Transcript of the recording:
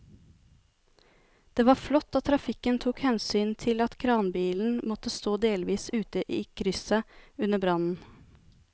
Det var flott at trafikken tok hensyn til at kranbilen måtte stå delvis ute i krysset under brannen.